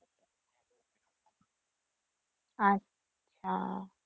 আচ্ছা